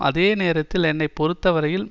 அதே நேரத்தில் என்னை பொறுத்தவரையில்